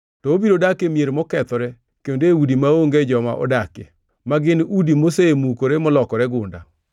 to obiro dak e mier mokethore, kendo e udi maonge joma odakie, ma gin udi mosemukore molokore gunda.